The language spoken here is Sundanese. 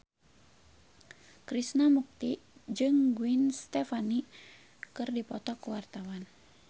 Krishna Mukti jeung Gwen Stefani keur dipoto ku wartawan